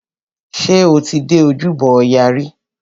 Ṣé o ti dé ojúbọ ọya rí?